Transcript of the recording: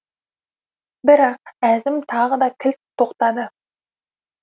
бірақ әзім тағы да кілт тоқтады